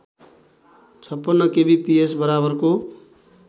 ५६ kbps बराबरको